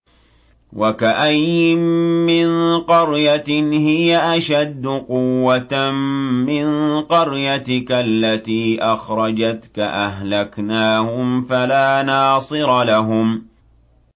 وَكَأَيِّن مِّن قَرْيَةٍ هِيَ أَشَدُّ قُوَّةً مِّن قَرْيَتِكَ الَّتِي أَخْرَجَتْكَ أَهْلَكْنَاهُمْ فَلَا نَاصِرَ لَهُمْ